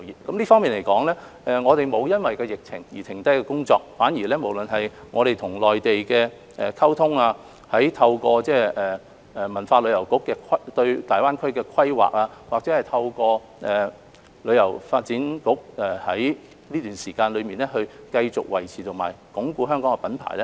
就這方面，我們的工作沒有因疫情而停下，反而無論是與內地溝通，透過國家文化和旅遊部對大灣區的規劃，或透過香港旅遊發展局在這段期間內繼續維持和鞏固香港的品牌。